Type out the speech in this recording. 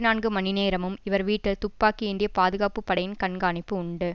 நான்கு மணி நேரமும் இவர் வீட்டில் துப்பாக்கி ஏந்திய பாதுகாப்பு படையின் கண்காணிப்பு உண்டு